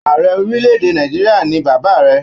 Ààrẹ orílẹ̀-èdè Nàìjíríà ni bàbá rẹ.